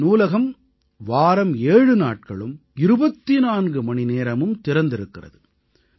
இந்த நூலகம் வாரம் ஏழு நாட்களும் 24 மணிநேரமும் திறந்திருக்கிறது